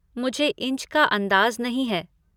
मुझे इंच का अन्दाज़ नहीं है।